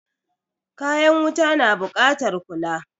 Kayan wuta na buƙatar kula.